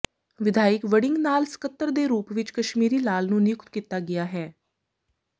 ਵਿਧਾਇਕ ਵੜਿੰਗ ਨਾਲ ਸਕੱਤਰ ਦੇ ਰੂਪ ਵਿਚ ਕਸ਼ਮੀਰੀ ਲਾਲ ਨੂੰ ਨਿਯੁਤਕ ਕੀਤਾ ਗਿਆ ਹੈ